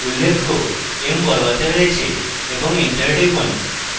উল্লেখ্য m বড়হাতে রয়েছে এবং এন্টার টিপুন